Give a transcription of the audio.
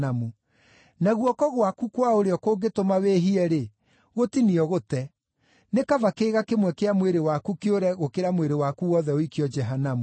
Na guoko gwaku kwa ũrĩo kũngĩtũma wĩhie-rĩ, gũtinie ũgũte. Nĩ kaba kĩĩga kĩmwe kĩa mwĩrĩ waku kĩũre gũkĩra mwĩrĩ waku wothe ũikio Jehanamu.